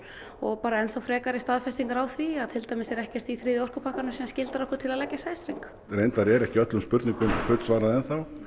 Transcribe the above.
og bara enn þá frekari staðfestingu á því að til dæmis er ekkert í þriðja orkupakkanum sem skyldar okkur til að leggja sæstreng reyndar eru ekki öllum spurningum fullsvarað enn þá